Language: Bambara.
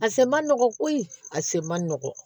A sen man nɔgɔn koyi a sen man nɔgɔn